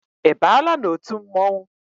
I baala n'otu mmọnwụ?